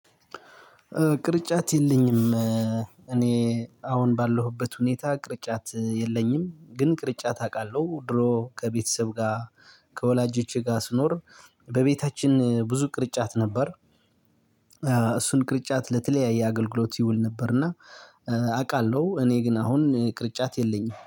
ቅርጫት የለኝም። እኔ አሁን ባለሁበት ሁኔታ ቅርጫት የለኝም ግን ቅርጫት አውቃለሁ ድሮ ከቤተሰብ ጋር ከወላጆቼ ጋር ስኖር በቤታችን ብዙ ቅርጫት ነበር። እሱን ቅርጫት ለተለያየ አገልግሎት ይውል ነበር። እና አውቃለሁ እኔ ግን አሁን ቅርጫት የለኝም